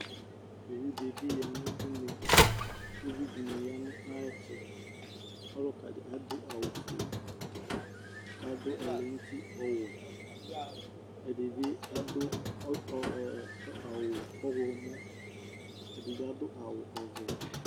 ɔwʋ dibi yanʋ ʋnɛ, ʋvi dibi yanʋ ayɛtʋ, ɔlʋka di adʋ awʋ ƒʋɛ kʋ afʋ ɔlɛnʋ ʋti ɔwɛ, ɛdibi adʋ awʋ ɔwlɔmɔ ɛdibi adʋ awʋ ɔvɛ